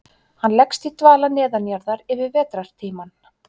Hann leggst í dvala neðanjarðar yfir vetrartímann.